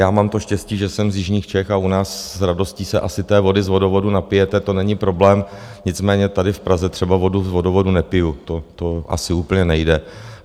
Já mám to štěstí, že jsem z jižních Čech a u nás s radostí se asi té vody z vodovodu napijete, to není problém, nicméně tady v Praze třeba vodu z vodovodu nepiju, to asi úplně nejde.